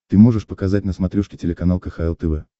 ты можешь показать на смотрешке телеканал кхл тв